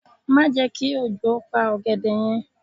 Má je ki òjò pa ògèdè yen